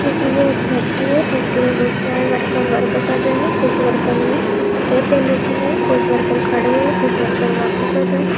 किसी ये एक फैक्टरी है फैक्टरी मैं बहोत सारे वर्कर वर्क कर रहे है कुछ वर्कर ने केप पहन रखी है कुछ वर्कर खड़े हुए है कुछ वर्कर वर्क कर रहे है।